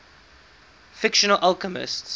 fictional alchemists